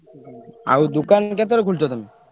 ଆଉ ଦୋକାନ କେତବେଳେ ଖୋଲୁଛ ତମେ?